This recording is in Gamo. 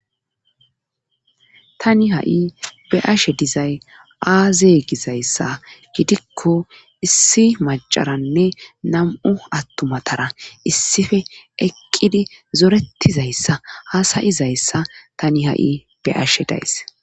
Tani ha,i be ashe dizay aaze gizayssa gidikko issi macaranne nam,u attumatara issife eqqidi zoretizayssa haasayizayssa tani ha,i be ashe days.